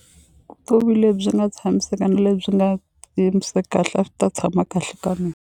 Vutomi lebyi nga tshamiseka na lebyi nga kahle a swi ta tshama kahle ka mina.